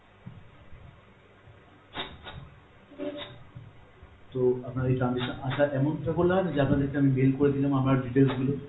তো আপনার এই transaction আসার amount টা বললে হয় না যে আপনাদেরকে যে আমি mail করে দিলাম আমার details গুলো